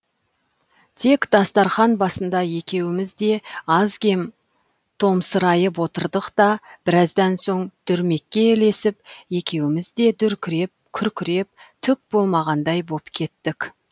тек дастарқан басында екеуміз де аз кем томсырайып отырдық та біраздан соң дүрмекке ілесіп екеуміз де дүркіреп күркіреп түк болмағандай боп кеттік